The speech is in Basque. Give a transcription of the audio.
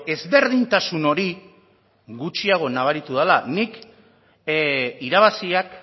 ezberdintasun hori gutxiago nabaritu dela ni irabaziak